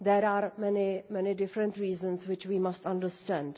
There are many, many different reasons which we must understand.